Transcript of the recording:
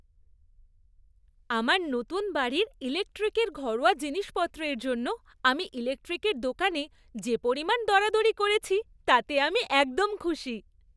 আমার নতুন বাড়ির ইলেকট্রিকের ঘরোয়া জিনিসপত্রের জন্য আমি ইলেকট্রিকের দোকানে যে পরিমাণ দরাদরি করেছি তাতে আমি একদম খুশি।